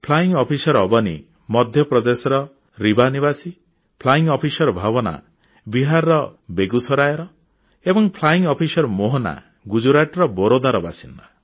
flying officer Avani ମଧ୍ୟପ୍ରଦେଶର ରେୱା ନିବାସୀ flying officer Bhawana ବିହାରର ବେଗୁସରାଇର ଏବଂ ଫ୍ଲାଇଂ ଅଫିସର ମୋହନା ଗୁଜରାଟର ବରୋଦାର ବାସିନ୍ଦା